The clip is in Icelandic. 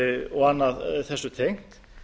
og annað þessu tengt